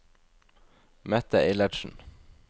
Mette Eilertsen